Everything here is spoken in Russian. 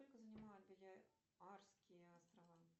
сколько занимают балеарские острова